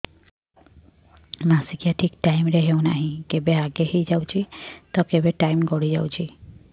ମାସିକିଆ ଠିକ ଟାଇମ ରେ ହେଉନାହଁ କେବେ ଆଗେ ହେଇଯାଉଛି ତ କେବେ ଟାଇମ ଗଡି ଯାଉଛି